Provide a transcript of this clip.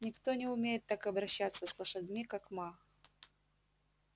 никто не умеет так обращаться с лошадьми как ма